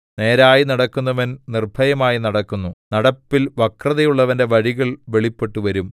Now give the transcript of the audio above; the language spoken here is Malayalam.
നേരായി നടക്കുന്നവൻ നിർഭയമായി നടക്കുന്നു നടപ്പിൽ വക്രതയുള്ളവന്റെ വഴികൾ വെളിപ്പെട്ടുവരും